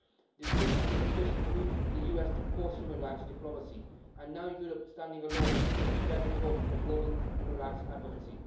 The Trump administration has moved the US to post human rights diplomacy, and now Europe, standing alone, must bear the torch for global human rights advocacy.